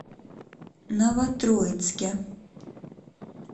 новотроицке